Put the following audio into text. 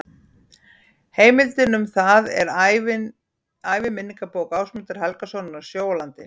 Heimildin um það er æviminningabók Ásmundar Helgasonar, Á sjó og landi.